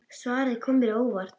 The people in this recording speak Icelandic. Svarið kom mér á óvart.